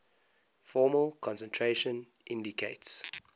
formal concentration indicates